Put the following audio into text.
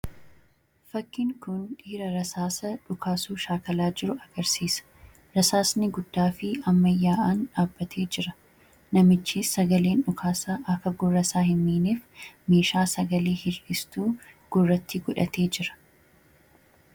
Fakkin kun dhiira rasaasa dhukaasuu shaakalaa jiru agarsiisa. rasaasni guddaa fi ammayyaa’aan dhaabbatee jira. namichis sagaleen dhukaasaa akka gurrasaa hin miineef meeshaa sagalee hir'istu gurratti godhatee jira.